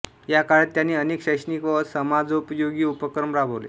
या काळात त्यांनी अनेक शैक्षणिक व समाजोपयोगी उपक्रम राबवले